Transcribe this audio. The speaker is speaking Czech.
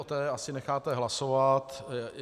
O té asi necháte hlasovat.